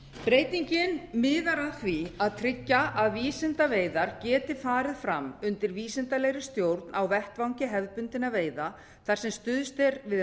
breytingin miðar að því að tryggja að vísindaveiðar geti farið fram undir vísindalegri stjórn á vettvangi hefðbundinna veiða þar sem stuðst er við